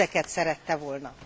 Ezeket szerette volna.